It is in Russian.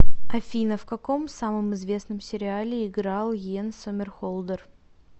афина в каком самом известном сериале играл йен сомерхолдер